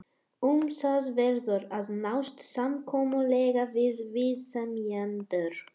Um það verður að nást samkomulag við viðsemjendur.